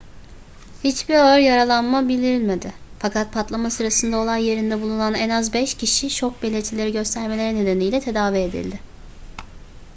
hiçbir ağır yaralanma bildirilmedi fakat patlama sırasında olay yerinde bulunan en az beş kişi şok belirtileri göstermeleri nedeniyle tedavi edildi